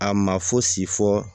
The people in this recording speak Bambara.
A ma fosi fɔ